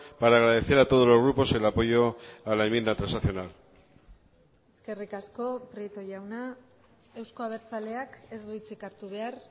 para agradecer a todos los grupos el apoyo a la enmienda transaccional eskerrik asko prieto jauna euzko abertzaleak ez du hitzik hartu behar